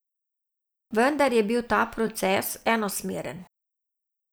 Vendar je bil ta proces enosmeren.